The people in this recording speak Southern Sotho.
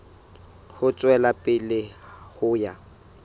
ho tswela pele ho ya